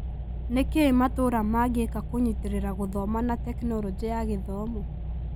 Nĩkĩĩ matũra mangĩĩka kũnyitĩrĩra gũthoma na Tekinoronjĩ ya Gĩthomo?